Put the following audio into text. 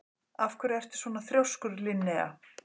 Af hverju ertu svona þrjóskur, Linnea?